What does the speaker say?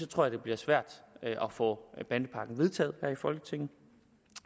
tror det bliver svært at få bandepakken vedtaget her i folketinget